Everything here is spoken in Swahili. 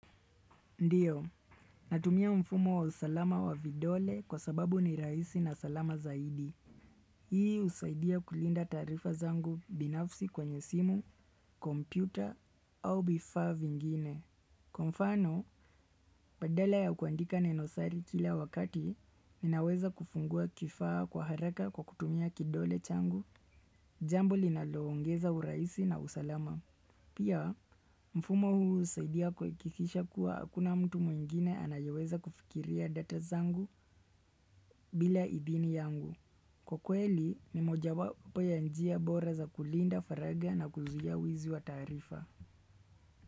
Ndiyo, natumia mfumo wa usalama wa vidole kwa sababu ni raisi na salama zaidi. Hii usaidia kulinda taarifa zangu binafsi kwenye simu, kompyuta, au vifaa vingine. Kwa mfano, badala ya kuandika neno siri kila wakati, ninaweza kufungua kifaa kwa haraka kwa kutumia kidole changu, jambo linaloongeza urahisi na usalama. Pia, mfumo huu husaidia kuhakikisha kuwa hakuna mtu mwingine anayoweza kufikia data zangu bila idhini yangu. Kwa kweli, ni moja wapo ya njia bora za kulinda faragha na kuzuia wizi wa taarifa.